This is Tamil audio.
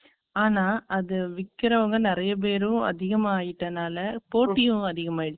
ஆனா, அது விக்கிறவங்க நிறைய பேரும், அதிகமாயிட்டனால, போட்டியும் அதிகமாயிடுச்சு